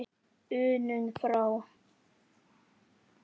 unum frá.